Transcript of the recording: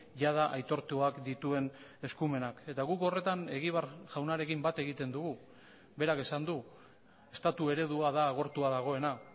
jada aitortuak dituen eskumenak eta guk horretan egibar jaunarekin bat egiten dugu berak esan du estatu eredua da agortua dagoena